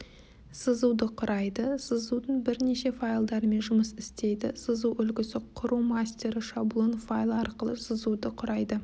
сызуды құрайды сызудың бірнеше файлдарымен жұмыс істейді сызу үлгісі құру мастері шаблон файлы арқылы сызуды құрайды